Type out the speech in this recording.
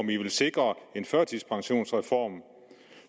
ville sikre en førtidspensionsreform